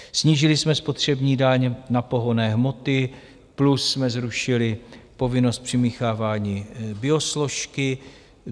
Snížili jsme spotřební daň na pohonné hmoty plus jsme zrušili povinnost přimíchávání biosložky.